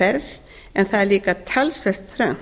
yfirferð en það hefur líka verið talsvert